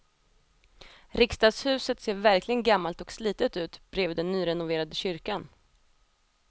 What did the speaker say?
Riksdagshuset ser verkligen gammalt och slitet ut bredvid den nyrenoverade kyrkan.